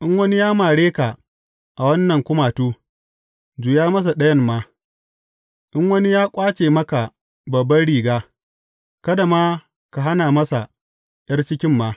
In wani ya mare ka a wannan kumatu, juya masa ɗayan ma, in wani ya ƙwace maka babban riga, kada ma ka hana masa ’yar cikin ma.